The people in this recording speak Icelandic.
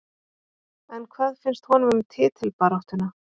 En hvað finnst honum um titilbaráttuna?